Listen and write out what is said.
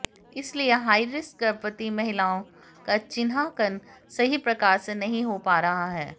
इसलिए हाईरिस्क गर्भवती महिलाओं का चिन्हांकन सही प्रकार से नहीं हो पा रहा है